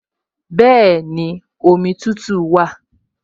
Bẹ́ẹ̀ni, omi tútù wà